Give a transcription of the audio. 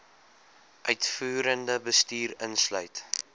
uitvoerende bestuur insluit